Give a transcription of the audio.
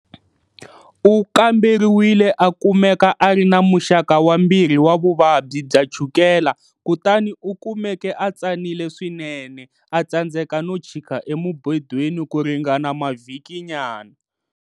U kamberiwile a kumeka a ri na muxaka wa 2 wa vuvabyi bya chukela kutani u kumeke a tsanile swinene a tsandzeka no chika emubedweni ku ringana mavhikinyana.